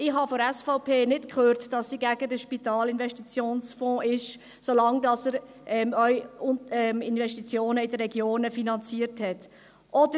Ich hatte von der SVP nicht gehört, dass sie gegen den SIF waren, solange er auch Investitionen in den Regionen finanzierte.